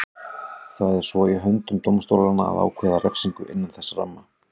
Það er svo í höndum dómstólanna að ákvarða refsingu innan þess ramma.